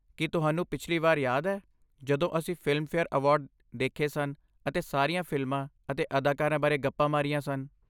ਕੀ ਤੁਹਾਨੂੰ ਪਿਛਲੀ ਵਾਰ ਯਾਦ ਹੈ ਜਦੋਂ ਅਸੀਂ ਫਿਲਮਫੇਅਰ ਅਵਾਰਡ ਦੇਖੇ ਸਨ ਅਤੇ ਸਾਰੀਆਂ ਫਿਲਮਾਂ ਅਤੇ ਅਦਾਕਾਰਾਂ ਬਾਰੇ ਗੱਪਾਂ ਮਾਰੀਆਂ ਸਨ?